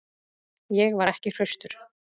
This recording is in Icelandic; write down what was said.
Ég var ekki hraustur.